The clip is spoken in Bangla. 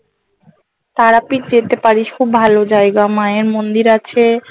তারাপীঠ যেতে পারিস খুব ভালো জায়গা মায়ের মন্দির আছে